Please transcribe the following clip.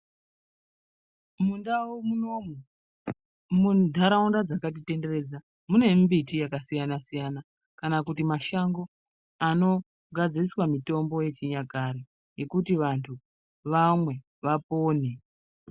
Mundau munomu mu ndaraunda dzakati tenderedza mune mbiti yaka siyana siyana kana kuti mashango anogadziriswa mitombo ye chinyakare yekuti vantu vamwe vapone.